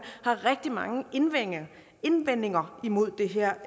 har rigtig mange indvendinger indvendinger imod det her